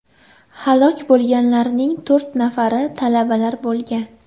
Halok bo‘lganlarning to‘rt nafari talabalar bo‘lgan.